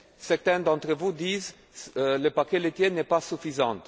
Certains d'entre vous disent que le paquet laitier n'est pas suffisant.